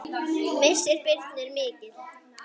Missir Birnu er mikill.